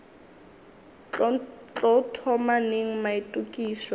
tlo thoma neng maitokišo a